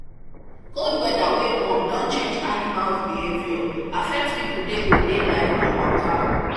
cold weather wey warm don change animals behaviour affect people day to day life and waka